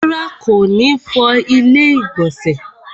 Rárá, kò ní fọ ilẹ́ ìgbọ̀nsẹ̀